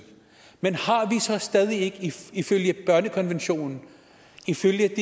men har vi så stadig ikke ifølge børnekonventionen ifølge